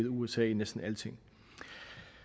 usa i næsten alting